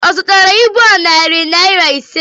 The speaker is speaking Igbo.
Ọ zụtara ibu a narị naira ise?